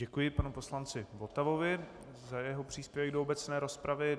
Děkuji panu poslanci Votavovi za jeho příspěvek do obecné rozpravy.